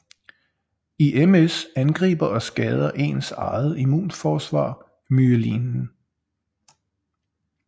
I MS angriber og skader ens eget immunforsvar myelinen